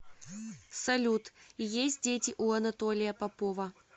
салют есть дети у анатолия попова